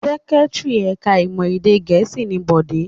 Secretary ẹ̀ka-ìmọ̀ èdè Gẹ̀ẹ́sì ni Bọ̀dé.